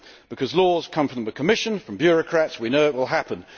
Because laws come from the Commission from bureaucrats we know it will happen.